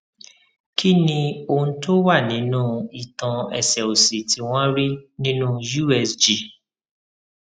kí ni ohun to wa ninú itan ẹsẹ òsì tí wọn rí nínú usg